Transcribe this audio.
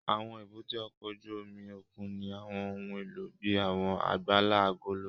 Àwọn èbúté ọkọ̀ ojú omi òkun ní àwọn ohun èlò bíi àwọn àgbàlá agolo.